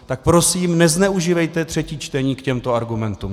Tak prosím nezneužívejte třetí čtení k těmto argumentům.